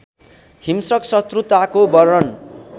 हिंस्रक शत्रुताको वर्णन